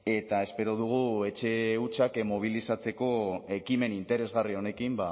eta espero dugu etxe hutsak mobilizatzeko ekimen interesgarri honekin